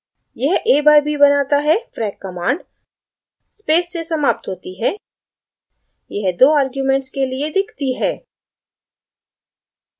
यह a by b बनाता है frac command space से समाप्त होती है यह दो अर्ग्युमेंट्स के लिए दिखती है